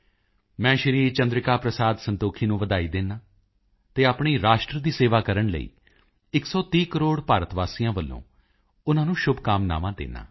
ਮੈਂ ਸ਼੍ਰੀ ਚੰਦਰਿਕਾ ਪ੍ਰਸਾਦ ਸੰਤੋਖੀ ਨੂੰ ਵਧਾਈ ਦਿੰਦਾ ਹਾਂ ਅਤੇ ਆਪਣੀ ਰਾਸ਼ਟਰ ਦੀ ਸੇਵਾ ਕਰਨ ਲਈ 130 ਕਰੋੜ ਭਾਰਤੀਆਂ ਵੱਲੋਂ ਉਨ੍ਹਾਂ ਨੂੰ ਸ਼ੁਭਕਾਮਨਾਵਾਂ ਦਿੰਦਾ ਹਾਂ